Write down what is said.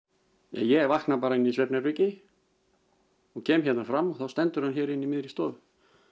ég vakna inni í svefnherbergi kem hérna fram og þá stendur hann hér inni í miðri stofu